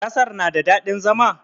Ƙasar na da daɗin zama?